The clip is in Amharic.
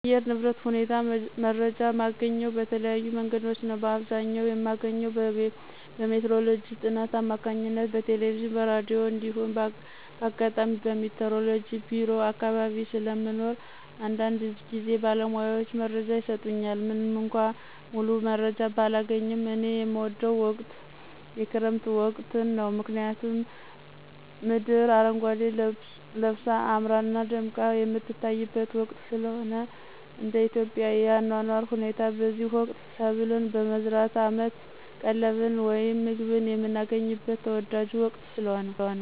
የአየር ንብረት ሁኔታ መረጃ የማገኘው በተለያዩ መንገዶች ነዉ። በአብዘኛዉ የማገኘው በሜትሮሎጅ ጥናት አማካኝነት በቴለቬዥንና በራዲዮ እንዲሁም ባጋጣሚ በሜትሮሎጅ ቢሮ አካባቢ ስለሞኖር አንዳንድጊዝ ባለሙያዎች መረጃ ይሰጡኛል። ምንምእኳ ሙሉመረጃውን ባላገኝም። እኔ የምወደው ወቅት የክረምት ወቅትን ነው። ምክንያቱም፦ 1)ምድር አረጓዴ ለበሳ አምራና ደምቃ የምትታይበት ወቅት ስለሆነ። 2)እንደኢትዮጵያ የአኗኗር ሁኔታ በዚህ ወቅት ሰብልን በመዝራት አመት ቀለብን ወይም ምግብን የምናገኝበት ተወዳጁ ወቅት ስለሆነ።